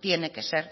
tiene que ser